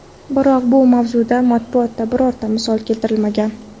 Biroq bu mavzuda matbuotda birorta misol keltirilmagan.